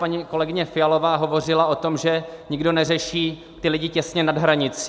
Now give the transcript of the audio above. Paní kolegyně Fialová hovořila o tom, že nikdo neřeší ty lidi těsně nad hranicí.